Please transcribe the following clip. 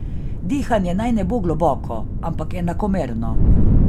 Dihanje naj ne bo globoko, ampak enakomerno.